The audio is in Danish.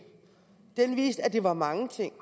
den viste at det var mange ting